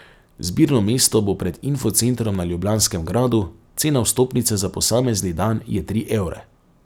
Zbirno mesto bo pred Info centrom na Ljubljanskem gradu, cena vstopnice za posamezni dan je tri evre.